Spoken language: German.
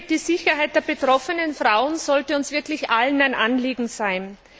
Die Sicherheit der betroffenen Frauen sollte uns wirklich allen ein Anliegen sein.